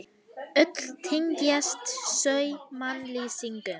Öll tengjast þau mannlýsingum.